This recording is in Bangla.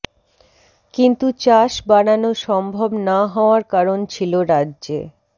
কিন্তু চাষ বাড়ানো সম্ভব না হওয়ার কারণ ছিল রাজ্যে